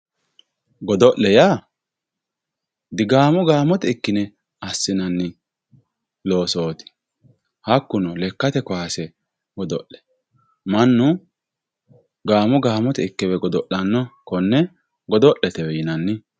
godo'le yaa digaamo gaamote ikkine assinanni loosooti hakkuno lekkate kaase godo'la mannu gaamo gaamote ikkewe godo'lanno konne godo'letewe yinanni